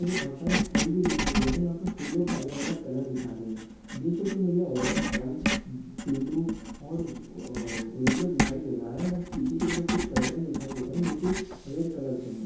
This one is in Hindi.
मुझे बहुत सारे फूल भी दिखाई दे रहे है यहा पे फूलों के अलग अलग कलर दिखाई दे रहे है जैसे की मुझे ऑरेंज व्हाइट ब्लु और व येल्लो दिखाई दे रहा है पीछे की तरफ कुछ कर्टन दिखाई दे रहे है जो की रेड कलर के है।